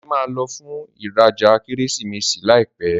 Deji má ló fún ìrajà Kérésìmesì láìpé.